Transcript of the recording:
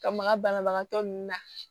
Ka maga banabagatɔ nun na